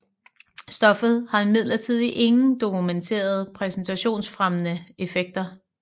Stoffet har imidlertid ingen dokumenterede præstationsfremmende effekter